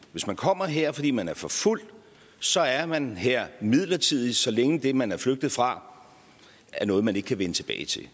hvis man kommer her fordi man er forfulgt så er man her midlertidigt så længe det man er flygtet fra er noget man ikke kan vende tilbage til